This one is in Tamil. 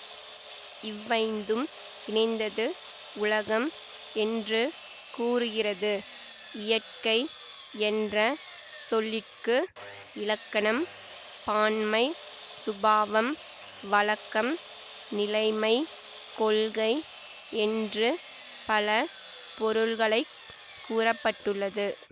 இவ்வைந்தும் இணைந்தது உலகம் என்று கூறுகிறது இயற்கை என்ற சொல்லிற்கு இலக்கணம் பான்மை சுபாவம் வழக்கம் நிலைமை கொள்கை என்று பல பொருள்களை கூற பட்டுள்ளது